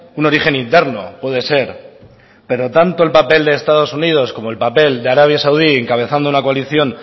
un origen interno puede ser pero tanto el papel de estados unidos como el papel de arabia saudí encabezando una coalición